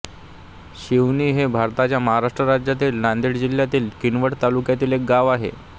शिवणी हे भारताच्या महाराष्ट्र राज्यातील नांदेड जिल्ह्यातील किनवट तालुक्यातील एक गाव आहे